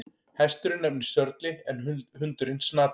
Hesturinn nefnist Sörli en hundurinn Snati.